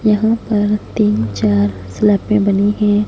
यहां पर तीन चार सेलेपें बनी है।